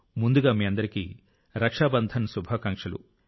ముందుగా మీ అందరికీ రక్షా బంధన్ శుభాకాంక్షలు